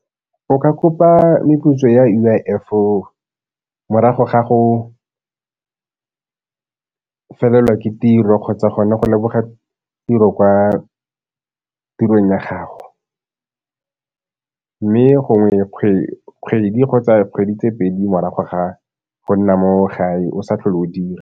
O ka kopa meputso ya U_I_F morago ga go felelwa ke tiro kgotsa gone go leboga tiro kwa tirong ya gago, mme gongwe kgwedi kgotsa kgwedi tse pedi morago ga go nna mo gae o sa tlhole o dira.